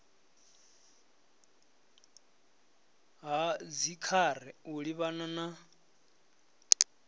ha dzikhare u livhana na